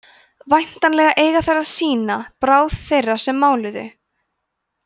væntanlega eiga þær að sýna bráð þeirra sem máluðu